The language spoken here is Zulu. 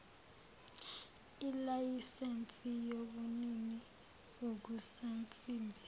ilayisensi yobunini bokusansimbi